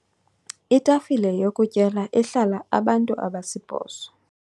Itafile yokutyela ehlala abantu abasibhozo.